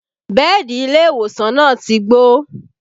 Bẹ́ẹ̀dì ilé ìwòsàn náà ti gbó